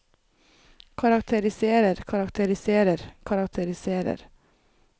karakteriserer karakteriserer karakteriserer